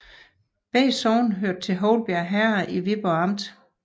Begge sogne hørte til Houlbjerg Herred i Viborg Amt